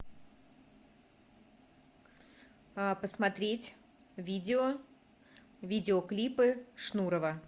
посмотреть видео видеоклипы шнурова